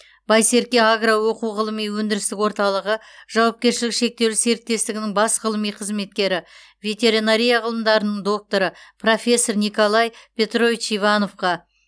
байсерке агро оқу ғылыми өндірістік орталығы жауапкершілігі шектеулі серіктестігінің бас ғылыми қызметкері ветеринария ғылымдарының докторы профессор николай петрович ивановқа